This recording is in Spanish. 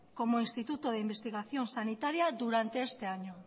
como instituto de investigación sanitaria durante este año